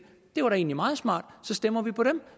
det var da egentlig meget smart så stemmer vi på dem